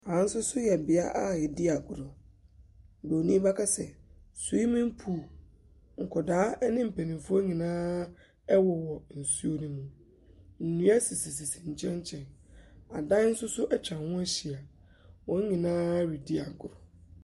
Ɛha nso so yɛ bea a wɔdi agorɔ. Buronin bɛka sɛ swimming pool. Nkwadaa ne mpanimfoɔ nyinaa wowɔ nsuo no mu. Nnua sisisisi nkyɛn nkyɛn. Adan nso so atwa ho ahyia. Wɔn nyinaa redi agorɔ.